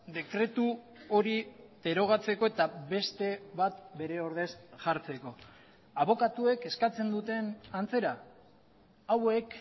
dekretu hori derogatzeko eta beste bat bere ordez jartzeko abokatuek eskatzen duten antzera hauek